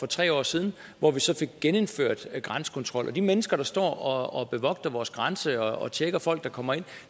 tre år siden hvor vi så fik genindført grænsekontrol de mennesker der står og bevogter vores grænse og tjekker folk der kommer ind